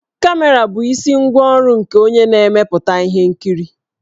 Kamera bụ isi ngwá ọrụ nke onye na-emepụta ihe nkiri.